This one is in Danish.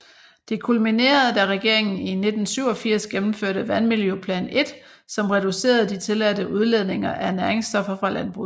Det kulminerede da regeringen i 1987 gennemførte Vandmiljøplan I som reducerede de tilladte udledninger af næringsstoffer fra landbruget